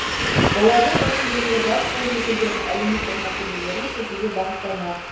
олардың басым бөлігі жас буын өкілдерінің әлеуметтік мәселелерін шешуге бағытталмақ